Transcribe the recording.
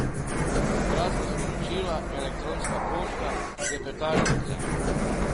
Kratka sporočila, elektronska pošta, klepetalnice ...